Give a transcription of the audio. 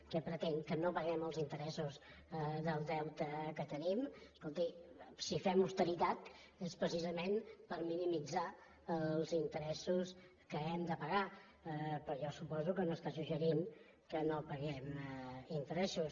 què pretén que no paguem els interessos del deute que tenim escolti si fem austeritat és precisament per minimitzar els interessos que hem de pagar però jo suposo que no està suggerint que no paguem interessos